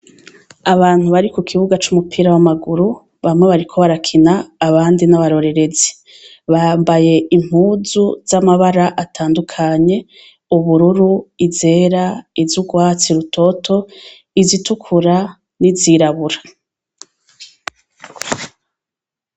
Abantu bari ku kibuga c' umupira w' amaguru bamwe bariko barakina abandi ni abarorerezi bambaye impuzu z' amabara atandukanye ubururu, izera iz' ugwatsi rutoto, izitukura n' izirabura.